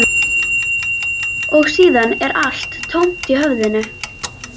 Og síðan er allt tómt í höfðinu.